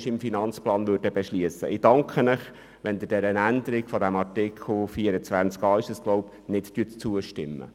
Ich danke Ihnen, wenn Sie der Änderung von Artikel 24a nicht zustimmen.